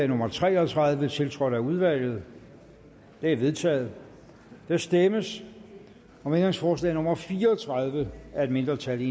nummer tre og tredive tiltrådt af udvalget det er vedtaget der stemmes om ændringsforslag nummer fire og tredive af et mindretal